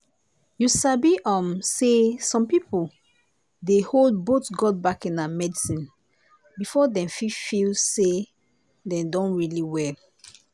you sabi um say some people dey hold both god backing and medicine before dem fit feel say dem don really well.